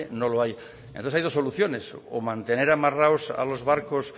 no lo hay entonces hay dos soluciones o mantener amarrados a los barcos